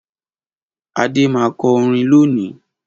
Adé má kọ orin loni